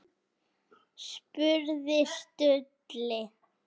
spurði Stulli.